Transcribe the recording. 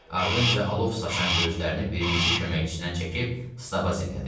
Ardınca alov saçan gözlərini birinci köməkçisindən çəkib stab dillədi.